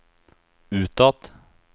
utåt